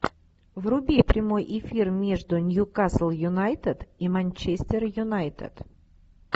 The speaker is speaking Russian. вруби прямой эфир между ньюкасл юнайтед и манчестер юнайтед